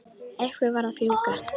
Einhver varð að fjúka.